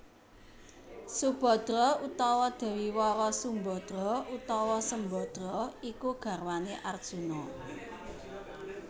Subhadra utawa Dewi Wara Sumbadra utawa Sembadra iku garwané Arjuna